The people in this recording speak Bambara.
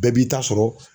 Bɛɛ b'i ta sɔrɔ